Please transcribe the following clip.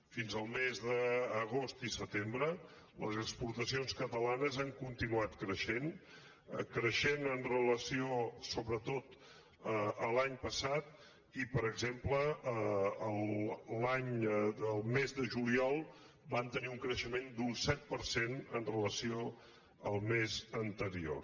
fins al mes d’agost i setembre les exportacions catalanes han continuat creixent creixent amb relació sobretot a l’any passat i per exemple el mes de juliol van tenir un creixement d’un set per cent amb relació al mes anterior